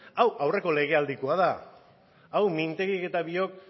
hau aurreko legealdikoa da hau minteguik eta biok